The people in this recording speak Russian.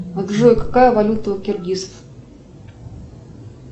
джой какая валюта у киргизов